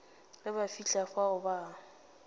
ge ba fihla fao ba